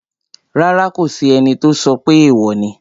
Rárá, kò sí ẹni tó sọ pé èèwò ni